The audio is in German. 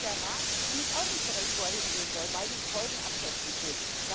Deshalb weiß der Rat nämlich auch nicht so recht, wo er hingehen soll, weil die Folgenabschätzung fehlt.